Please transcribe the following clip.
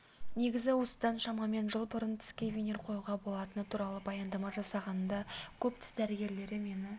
негізі осыдан шамамен жыл бұрын тіске винир қоюға болатыны туралы баяндама жасағанымда көп тіс дәрігерлері мені